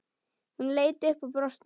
Hún leit upp og brosti.